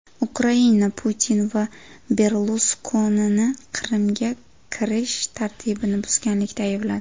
Ukraina Putin va Berluskonini Qrimga kirish tartibini buzganlikda aybladi.